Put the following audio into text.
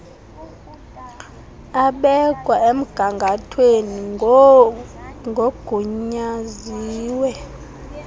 abekwa emgangathweni ngoogunyaziwe